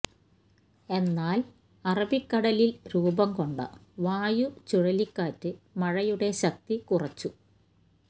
എന്നാല് അറബിക്കടലില് രൂപംകൊണ്ട വായു ചുഴലിക്കാറ്റ് മഴയുടെ ശക്തി കുറച്ചു